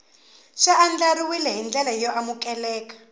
xi andlariwil ndlela yo amukeleka